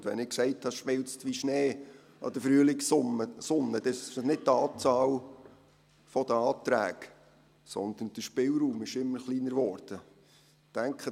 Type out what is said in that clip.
Und wenn ich gesagt habe, «Das schmilzt wie Schnee an der Frühlingssonne», dann ist dies nicht die Anzahl der Anträge, sondern der Spielraum, der immer kleiner geworden ist.